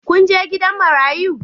Kun je gidan marayu?